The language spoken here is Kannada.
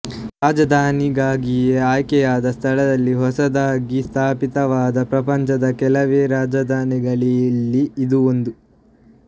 ರಾಜಧಾನಿಗಾಗಿಯೇ ಆಯ್ಕೆಯಾದ ಸ್ಥಳದಲ್ಲಿ ಹೊಸದಾಗಿ ಸ್ಥಾಪಿತವಾದ ಪ್ರಪಂಚದ ಕೆಲವೇ ರಾಜಧಾನಿಗಳಲ್ಲಿ ಇದೂ ಒಂದು